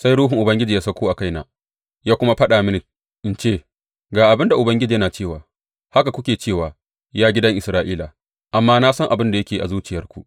Sai Ruhun Ubangiji ya sauko a kaina, ya kuma faɗa mini in ce, Ga abin da Ubangiji yana cewa, haka kuke cewa, ya gidan Isra’ila, amma na san abin da yake a zuciyarku.